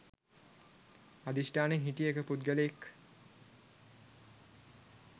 අධිෂ්ඨානයෙන් හිටිය එක පුද්ගලයෙක්.